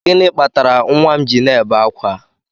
Gịnị kpatara nwa m ji na-ebe ákwà?